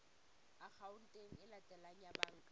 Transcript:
akhaonteng e latelang ya banka